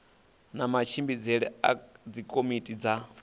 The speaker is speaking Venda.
na matshimbidzele a dzikomiti dza